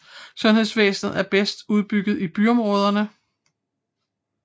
Sundhedsvæsenet er bedst udbygget i byområderne